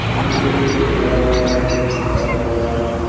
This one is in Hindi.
नीचे एक गेट लगा हुआ है जिसमें शीशा लगा हुआ है।